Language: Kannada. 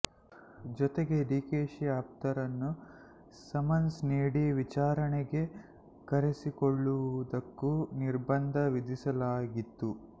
ಜೊತೆಗೆ ಡಿಕೆಶಿ ಆಪ್ತರನ್ನು ಸಮನ್ಸ್ ನೀಡಿ ವಿಚಾರಣೆಗೆ ಕರೆಸಿಕೊಳ್ಳುವುದಕ್ಕೂ ನಿರ್ಬಂಧ ವಿಧಿಸಲಾಗಿತ್ತು